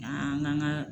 An ka an ka